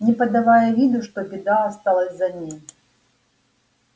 не подавая виду что беда осталась за ней